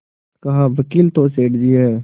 कहावकील तो सेठ जी हैं